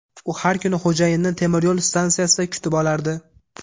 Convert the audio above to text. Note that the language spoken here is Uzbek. U har kuni xo‘jayinini temir yo‘l stansiyada kutib olardi.